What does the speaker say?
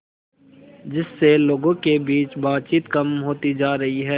जिससे लोगों के बीच बातचीत कम होती जा रही है